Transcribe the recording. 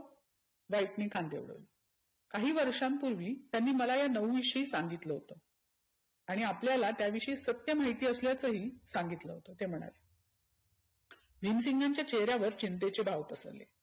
White ने कान देऊन काही वर्षांपुर्वी त्यांनी मला या नऊ विषयी सांगितलं होतं. आणि आपल्याला त्या विषयी सत्य माहिती असल्याच ही सांगितलं होतं ते म्हणाले. भिमसिंगांच्या चेहऱ्यावर चिंतेचे भाव पसरले.